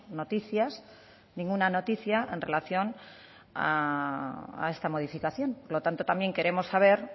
noticias ninguna noticia en relación a esta modificación por lo tanto también queremos saber